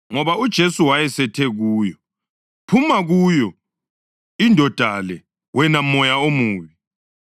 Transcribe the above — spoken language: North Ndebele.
Ngoba uJesu wayesethe kuyo, “Phuma kuyo indoda le, wena moya omubi!”